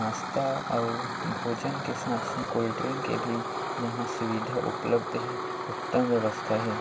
नास्ता और भोजन के साथ साथ कोल्ड ड्रिंक के भी यंहा सुविधा उपलब्ध हे उत्तम व्यवस्था हे।